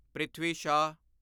Prithvi Shaw